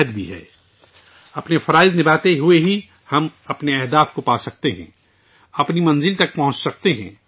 صرف اپنا فرض ادا کرکے ہی ہم اپنے اہداف حاصل کرسکتے ہیں، اپنی منزل تک پہنچ سکتے ہیں